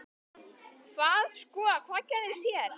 Hvað sko, hvað gerist hérna?